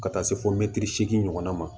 Ka taa se fo seegin ɲɔgɔnna ma